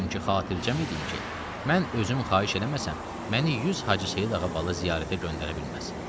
Çünki xatircəm idim ki, mən özüm xahiş eləməsəm, məni 100 Hacı Seyid Ağa bala ziyarətə göndərə bilməz.